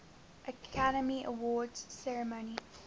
academy awards ceremony